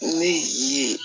Ne ye